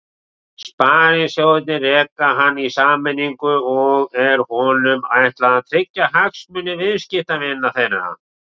Sparisjóðirnir reka hann í sameiningu og er honum ætlað að tryggja hagsmuni viðskiptavina þeirra.